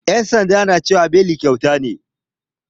Yan sanda na cewa beli kyauta ne.